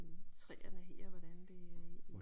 Træerne her hvordan det